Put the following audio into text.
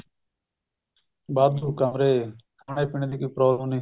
ਵਾਧੂ ਕਮਰੇ ਖਾਣੇ ਪੀਨੇ ਦੀ ਕੋਈ problem ਨੀ